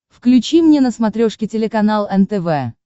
включи мне на смотрешке телеканал нтв